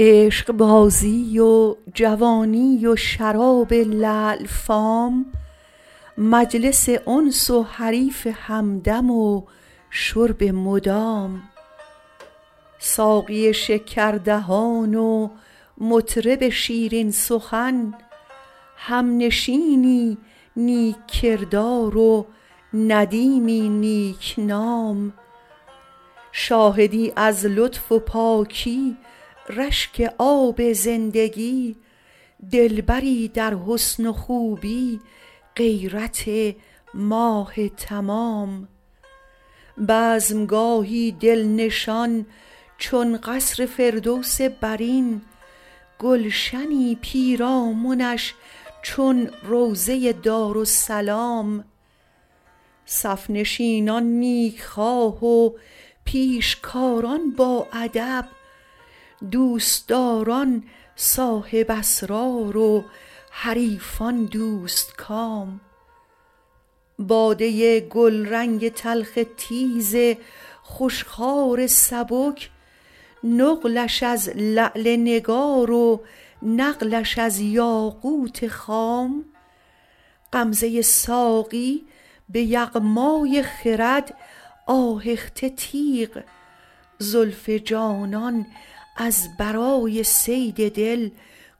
عشقبازی و جوانی و شراب لعل فام مجلس انس و حریف همدم و شرب مدام ساقی شکردهان و مطرب شیرین سخن همنشینی نیک کردار و ندیمی نیک نام شاهدی از لطف و پاکی رشک آب زندگی دلبری در حسن و خوبی غیرت ماه تمام بزم گاهی دل نشان چون قصر فردوس برین گلشنی پیرامنش چون روضه دارالسلام صف نشینان نیک خواه و پیشکاران باادب دوست داران صاحب اسرار و حریفان دوست کام باده گلرنگ تلخ تیز خوش خوار سبک نقلش از لعل نگار و نقلش از یاقوت خام غمزه ساقی به یغمای خرد آهخته تیغ زلف جانان از برای صید دل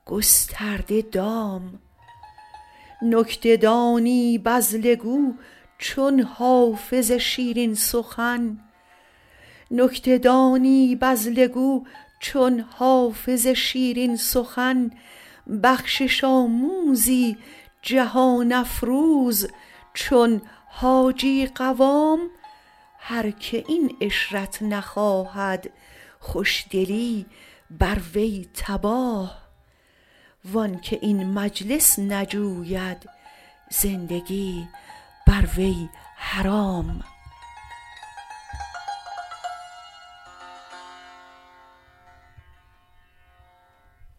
گسترده دام نکته دانی بذله گو چون حافظ شیرین سخن بخشش آموزی جهان افروز چون حاجی قوام هر که این عشرت نخواهد خوش دلی بر وی تباه وان که این مجلس نجوید زندگی بر وی حرام